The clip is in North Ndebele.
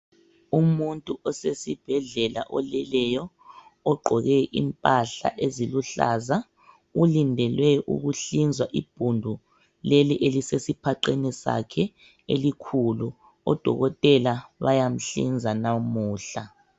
Umuntu osesibhedlela oleleyo ogqoke impahla eziluhlaza ulindele ukuhlinzwa ibhundu leli elisesiphaqeni sakhe elikhulu. Odokotela bayamhlinza namuhla.